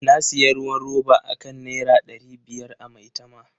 Na sayi ruwan roba akan Naira dari biyar a Maitama.